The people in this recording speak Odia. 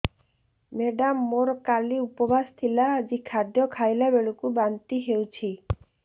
ମେଡ଼ାମ ମୋର କାଲି ଉପବାସ ଥିଲା ଆଜି ଖାଦ୍ୟ ଖାଇଲା ବେଳକୁ ବାନ୍ତି ହେଊଛି